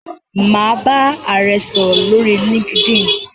Mà á bá ààrẹ sòrò lórí Linkedin.